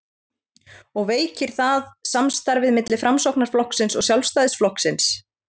og veikir það samstarfið milli Framsóknarflokksins og Sjálfstæðisflokksins?